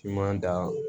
Finman da